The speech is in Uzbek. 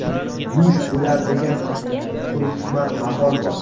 musht bo‘lar degan purhikmat maqol bor.